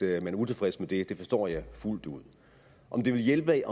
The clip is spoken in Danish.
er utilfreds med det det forstår jeg fuldt ud om det vil hjælpe